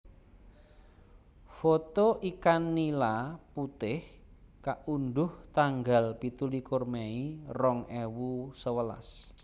Foto ikan nila putih kaundhuh tanggal pitulikur mei rong ewu sewelas